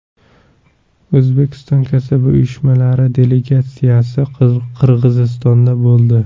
O‘zbekiston kasaba uyushmalari delegatsiyasi Qirg‘izistonda bo‘ldi.